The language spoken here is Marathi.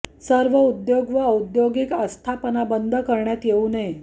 सर्व उद्योग व औद्योगिक आस्थापना बंद करण्यात येऊ नये